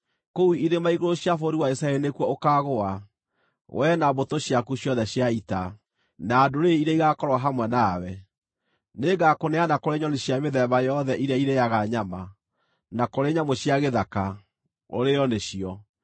Kũu irĩma-igũrũ cia bũrũri wa Isiraeli nĩkuo ũkaagũa, wee, na mbũtũ ciaku ciothe cia ita, na ndũrĩrĩ iria igaakorwo hamwe nawe. Nĩngakũneana kũrĩ nyoni cia mĩthemba yothe iria irĩĩaga nyama, na kũrĩ nyamũ cia gĩthaka, ũrĩĩo nĩcio.